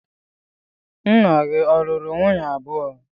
Nna gị ọ̀ luru nwunye abuo.